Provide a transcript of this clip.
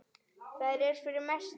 Það er fyrir mestu.